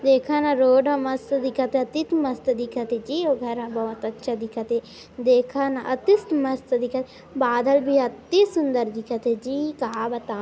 देखा न रोड ह मस्त दिखत हे अति थ मस्त दिखत हे जी ओ घर ह बहोत अच्छा दिखत हे देखा न अति स मस्त दिखत बादल भी अति सुंदर दिखत हे जी का बताव --